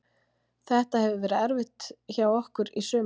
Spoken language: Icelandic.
Þetta hefur verið erfitt hjá okkur í sumar.